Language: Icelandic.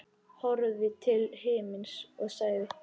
Horfði til himins og sagði: